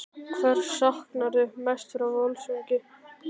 Hvers saknarðu mest frá Völsungi?